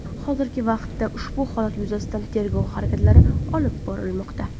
Hozirgi vaqtda ushbu holat yuzasidan tergov harakatlari olib borilmoqda.